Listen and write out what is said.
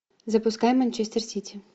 запускай манчестер сити